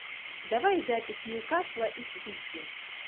давай запись ньюкасла и сити